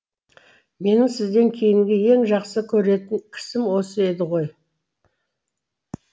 менің сізден кейінгі ең жақсы көретін кісім осы еді ғой